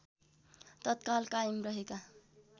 तत्काल कायम रहेका